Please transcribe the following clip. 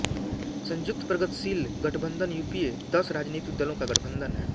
संयुक्त प्रगतशील गठबंधनयूपीए दस राजनीतिक दलों का गठबंधन है